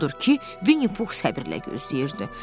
Odur ki, Vinnipux səbirlə gözləyirdi.